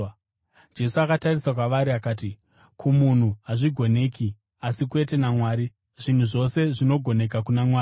Jesu akatarisa kwavari akati, “Kumunhu hazvigoneki, asi kwete naMwari; zvinhu zvose zvinogoneka kuna Mwari.”